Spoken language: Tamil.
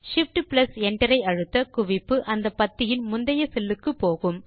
Shift Enter ஐ அழுத்த குவிப்பு அந்த பத்தியின் முந்தைய செல் க்கு போகும்